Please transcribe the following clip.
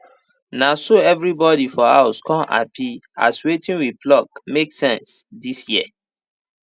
na so everybody for house con happy as wetin we pluck make sense this this year